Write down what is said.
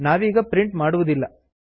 ನಾವೀಗ ಪ್ರಿಂಟ್ ಮಾಡುವುದಿಲ್ಲ